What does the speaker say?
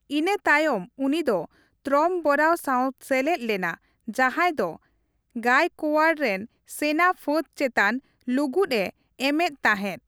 ᱤᱱᱟᱹ ᱛᱟᱭᱚᱢ ᱩᱱᱤᱫᱚ ᱛᱨᱚᱢᱵᱚᱨᱟᱣ ᱥᱟᱶᱮ ᱥᱮᱞᱮᱫ ᱞᱮᱱᱟ ᱡᱟᱸᱦᱟᱭ ᱫᱚ ᱜᱟᱭᱠᱳᱣᱟᱲ ᱨᱮᱱ ᱥᱮᱱᱟᱯᱷᱟᱹᱫᱽ ᱪᱮᱛᱟᱱ ᱞᱩᱜᱩᱫᱼᱮ ᱮᱢ ᱮᱫ ᱛᱟᱦᱮᱫ ᱾